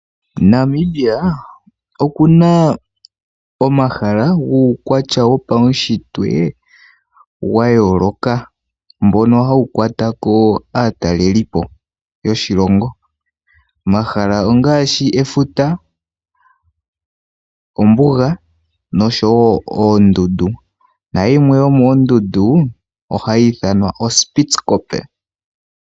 Namibia okuna omahala guukwatya wopaushitwe wa yooloka mbono hawu kwata ko aatalelipo yoshilongo omahala ongaashi efuta ,ombuga noshowo oondundu, nayimwe yomoondundu ohayi ithanwa oStittcoppe.